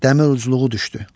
Dəmir ucluğu düşdü.